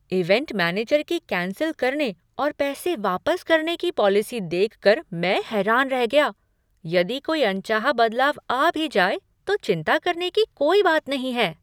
Event manager की cancel करने और पैसे वापस करने की पॉलिसी देख कर मैं हैरान रह गया। यदि कोई अनचाहा बदलाव आ भी जाए तो चिंता करने की कोई बात नहीं है।